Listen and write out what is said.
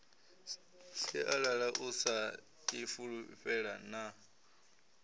sialala u sa ifulufhela na